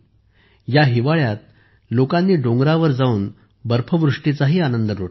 या हिवाळ्यात लोकांनी डोंगरावर जाऊन बर्फवृष्टीचाही आनंद लुटला